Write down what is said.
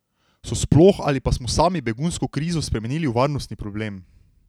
So sploh ali pa smo sami begunsko krizo spremenili v varnostni problem?